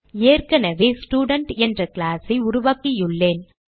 ஏற்கனவே ஸ்டூடென்ட் என்ற class ஐ உருவாக்கியுள்ளேன்